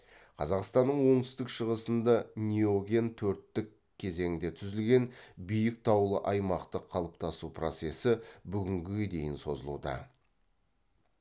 қазақстанның оңтүстік шығысында неоген төрттік кезеңде түзілген биік таулы аймақтың қалыптасу процесі бүгінге дейін созылуда